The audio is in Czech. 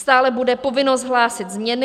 Stále bude povinnost hlásit změny.